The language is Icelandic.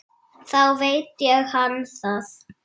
Þá veit hann það!